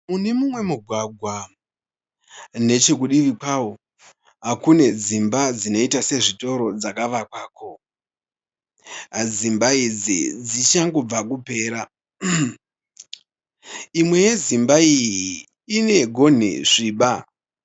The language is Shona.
Mune mumwe mugwagwa nechekudivi kwavo kune dzimba dzinoita sezvitoro dzakavakwako. Dzimba idzi dzichangobva kupera. Imwe yedzimba iyi inegonhi sviba.